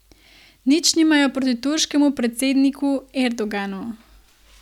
Nič nimajo proti turškemu predsedniku Erdoganu.